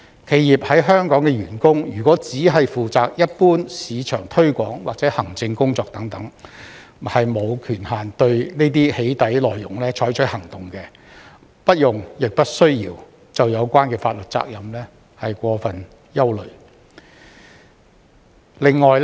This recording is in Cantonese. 企業在香港的員工如果只負責一般市場推廣或行政工作等，沒有權限對這些"起底"內容採取行動，不用亦不需要就有關法律責任過分憂慮。